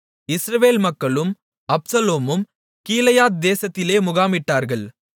இஸ்ரவேல் மக்களும் அப்சலோமும் கீலேயாத் தேசத்திலே முகாமிட்டார்கள்